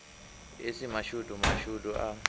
e si mashudu mashudu a